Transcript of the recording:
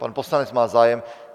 Pan poslanec má zájem.